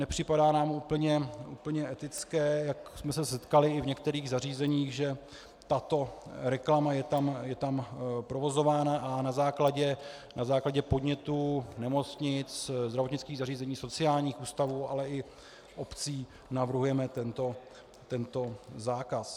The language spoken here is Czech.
Nepřipadá nám úplně etické, jak jsme se setkali i v některých zařízeních, že tato reklama je tam provozována, a na základě podnětu nemocnic, zdravotnických zařízení, sociálních ústavů, ale i obcí navrhujeme tento zákaz.